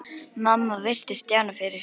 Mamma virti Stjána fyrir sér.